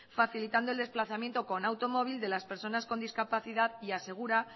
facilitando el desplazamiento con automóvil de las personas con discapacidad y asegura